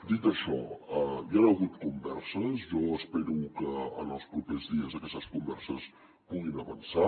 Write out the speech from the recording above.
dit això hi han hagut converses jo espero que en els propers dies aquestes converses puguin avançar